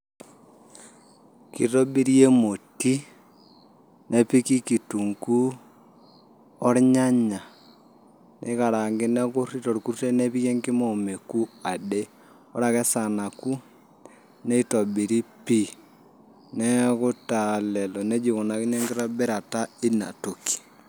Kitobiri emoti nepiki kitunguu ornyanya niraangi nekurti torkutet nepiki enkima omeku ade ore ake esaa naaoku nitobiri pii neeku taa lelo neijia ikunakini enkitobirata ina toki.